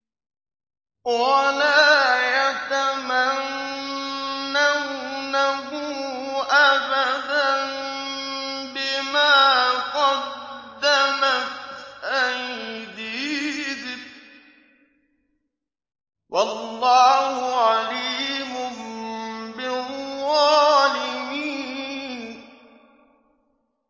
وَلَا يَتَمَنَّوْنَهُ أَبَدًا بِمَا قَدَّمَتْ أَيْدِيهِمْ ۚ وَاللَّهُ عَلِيمٌ بِالظَّالِمِينَ